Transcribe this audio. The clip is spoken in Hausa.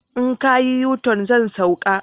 In ka yo yuton, zan sauka